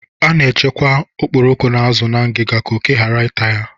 A na-echekwa okporoko na azụ na ngiga ka oké ghara ịta ya